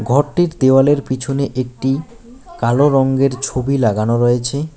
ঘরটির দেওয়ালের পিছনে একটি কালো রঙ্গের ছবি লাগানো রয়েছে।